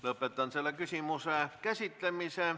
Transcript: Lõpetan selle küsimuse käsitlemise.